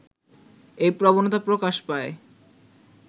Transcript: এই প্রবণতা প্রকাশ পায়